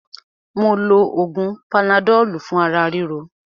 Mó lo oògùn panadọ́lù fún ara ríro.